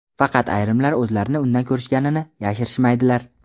Faqat ayrimlar o‘zlarini unda ko‘rishganini yashirishmaydilar.